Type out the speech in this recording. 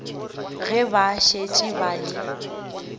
ge ba šetše ba le